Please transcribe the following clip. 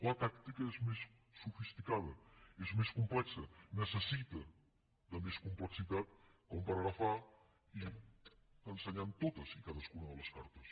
la tàctica és més sofisticada és més complexa necessita més complexitat per agafar i ensenyar totes i cadascuna de les cartes